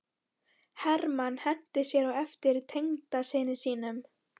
Hermann henti sér á eftir tengdasyni sínum.